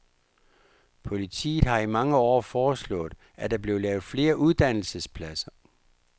Partiet har i mange år foreslået, at der blev lavet flere uddannelsespladser.